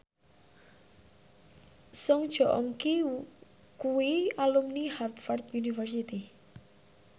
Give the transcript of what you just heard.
Song Joong Ki kuwi alumni Harvard university